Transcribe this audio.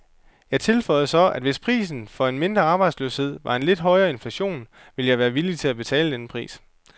Jeg tilføjede så, at hvis prisen for en mindre arbejdsløshed var en lidt højere inflation, ville jeg være villig til at betale denne pris.